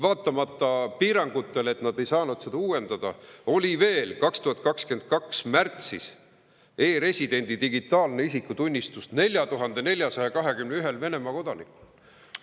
Vaatamata piirangutele, mistõttu nad ei saanud seda uuendada, oli veel 2022. aasta märtsis e‑residendi digitaalne isikutunnistus 4421‑l Venemaa kodanikul.